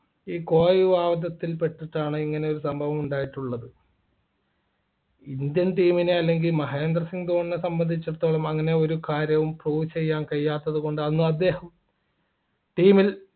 ഈ കോഴ വിഭാഗത്തിൽ പെട്ടിട്ടാണ് ഇങ്ങനെ ഒരു സംഭവം ഉണ്ടായിട്ടുള്ളത് indian team അല്ലെങ്കിൽ മഹേന്ദ്ര സിംഗ് ധോണിയെ സംബന്ധിച്ചിടത്തോളം അങ്ങനെ ഒരു കാര്യവും prove ചെയ്യാൻ കഴിയാത്തതുകൊണ്ട് അന്ന് അദ്ദേഹം team ൽ